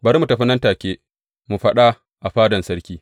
Bari mu tafi nan take mu faɗa a fadan sarki.